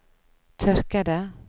tørkede